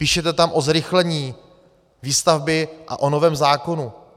Píšete tam o zrychlení výstavby a o novém zákonu.